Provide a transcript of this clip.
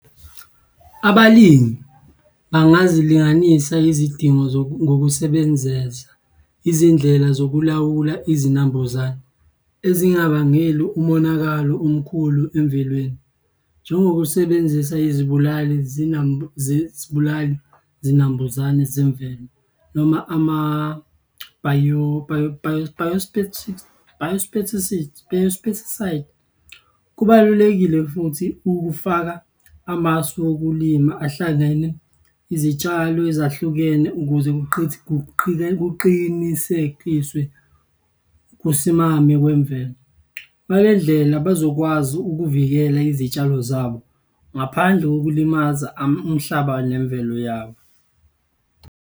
Abalimi, bangazilinganisa izidingo ngokusebenzeza izindlela zokulawula izinambuzane ezingabangeli umonakalo omkhulu emvelweni. Njengokusebenzisa izibulali zibulali zinambuzane zemvelo noma . Kubalulekile futhi ukufaka amasu wokulima ahlangene izitshalo ezahlukene ukuze kuqinisekiswe ukusimama kwemvelo. Ngale ndlela bazokwazi ukuvikela izitshalo zabo ngaphandle kokulimaza umhlaba nemvelo yawo.